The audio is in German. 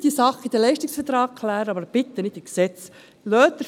Klären Sie diese Sache in den Leistungsverträgen, aber bitte nicht in Gesetzen.